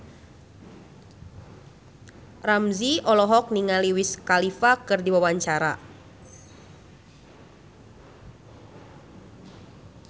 Ramzy olohok ningali Wiz Khalifa keur diwawancara